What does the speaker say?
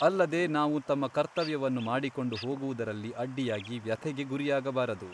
ಅಲ್ಲದೆ ನಾವು ನಮ್ಮ ಕರ್ತವ್ಯವನ್ನು ಮಾಡಿಕೊಂಡು ಹೋಗುವುದರಲ್ಲಿ ಅಡ್ಡಿಯಾಗಿ ವ್ಯಥೆಗೆ ಗುರಿಯಾಗಬಾರದು.